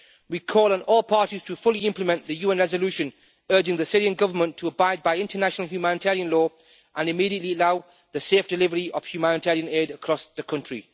We call on all parties to fully implement the UN resolution urging the Syrian Government to abide by international humanitarian law and immediately allow the safe delivery of humanitarian aid across the country.